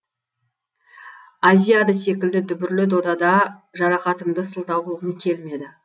азиада секілді дүбірлі додада жарақатымды сылтау қылғым келмеді